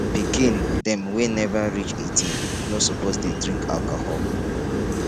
pikin dem wey nova reach 18 no suppose dey drink alcohol